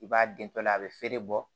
I b'a den tɔ la a bɛ feere bɔ